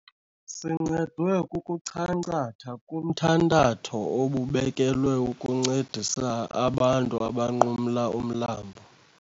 Sincedwe kukuchankcatha kumthantatho obubekelwe ukuncedisa abantu abanqumla umlambo.